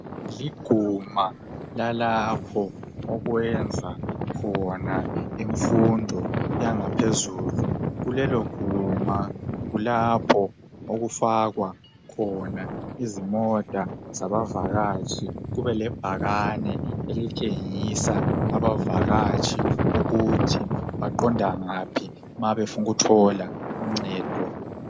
Liguma lalapho okwenza khona imfundo yangaphezulu. Kuleloguma kulapho okufakwa khona imota zabavakatshi. Kubelebhakane elitshengisa abavakatshi ukuthi baqonda ngaphi ma befuna ukuthola uncedo.